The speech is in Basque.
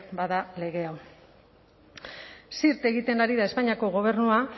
da lege hau zirt egiten ari da espainiako gobernua